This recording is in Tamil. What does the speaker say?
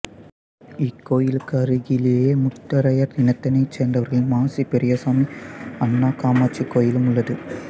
இக்கோயிலுக்கு அருகிலேயே முத்தரையர் இனத்தினைச் சேர்ந்தவர்களின் மாசி பெரியசாமி அன்னகாமாட்சி கோயிலும் உள்ளது